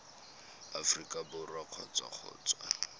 aforika borwa kgotsa go tswa